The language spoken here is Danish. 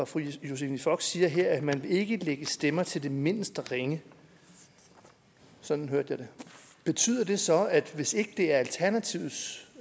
fru josephine fock siger her at man ikke vil lægge stemmer til det mindste ringe sådan hørte jeg det betyder det så at hvis ikke det er alternativets